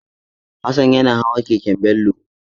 Hassan yana hawa keken Bello.